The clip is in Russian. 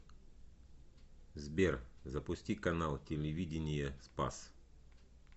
сбер запусти канал телевидения спас